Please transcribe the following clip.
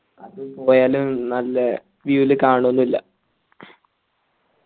അതുപോയാലും നല്ലേ clear ൽ കാണോന്നുല്ല